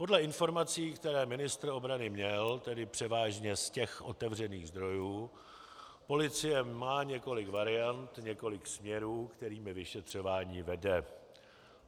Podle informací, které ministr obrany měl, tedy převážně z těch otevřených zdrojů, policie má několik variant, několik směrů, kterými vyšetřování vede.